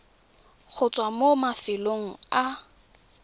go tswa mo mafelong a